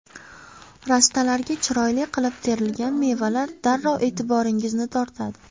Rastalarga chiroyli qilib terilgan mevalar darrov e’tiboringizni tortadi?